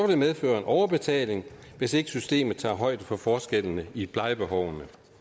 det medføre overbetaling hvis ikke systemet tager højde for forskellene i plejebehovet